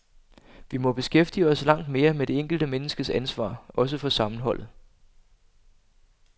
Vi må beskæftige os langt mere med det enkelte menneskes ansvar, også for sammenholdet.